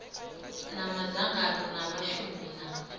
na madzangano a vhashumi na